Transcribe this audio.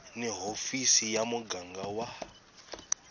ni hofisi ya muganga wa